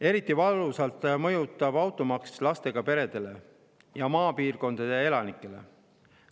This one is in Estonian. Eriti valusalt mõjub automaks lastega peredele ja maapiirkondade elanikele.